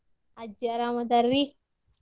ಅಜ್ಜಿ ಅರಾಮ್ ಅದಾರಿ.